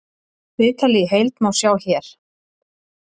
Viðtalið í heild má sjá hér